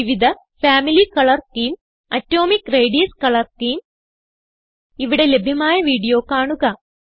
വിവിധ family colour schemes atomic radius colour scheme ഇവിടെ ലഭ്യമായ വീഡിയോ കാണുക